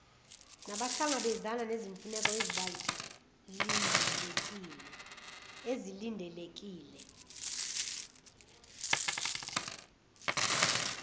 nabahlangabezana nezimfuneko ezilindelekile